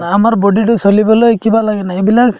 আমাৰ body তো চলিবলৈ কিবা লাগে নে এইবিলাক